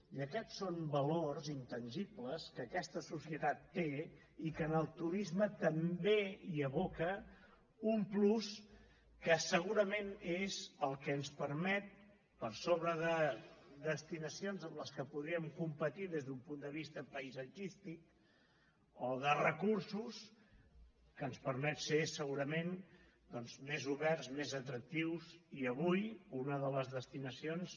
i aquests són valors intangibles que aquesta societat té i que en el turisme també hi aboca un plus que segurament és el que ens permet per sobre de destinacions amb què podríem competir des d’un punt de vista paisatgístic o de recursos ser segurament més oberts més atractius i avui una de les destinacions